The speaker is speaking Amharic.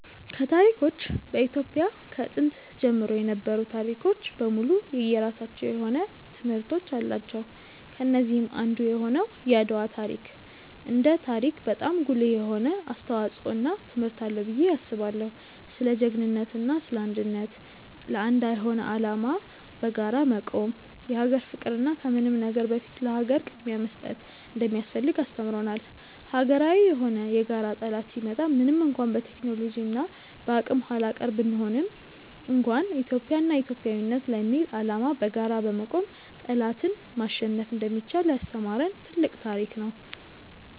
ከታሪኮች በኢትዮጵያ ከጥንት ጀምሮ የነበሩ ታሪኮች በሙሉ የየራሳቸው የሆነ ትምህርቶች አላቸው። ከነዚህም አንዱ የሆነው የአድዋ ታሪክ እንደ ታሪክ በጣም ጉልህ የሆነ አስተዋጽዖ እና ትምህርት አለው ብዬ አስባለው። ስለ ጅግንነት እና ስለ አንድነት፣ ለአንድ የሆነ አላማ በጋራ መቆም፣ የሀገር ፍቅር እና ከምንም ነገር በፊት ለሀገር ቅድምያ መስጠት እንደሚያስፈልግ አስተምሮናል። ሀገራዊ የሆነ የጋራ ጠላት ሲመጣ ምንም እንኳን በቴክኖሎጂ እና በአቅም ኃላቀር ብንሆንም እንኳን ኢትዮጵያ እና ኢትዮጵያዊነት ለሚል አላማ በጋራ በመቆም ጠላትን ማሸነፍ እንደሚቻል ያስተማሪን ትልቅ ታሪክ ነው።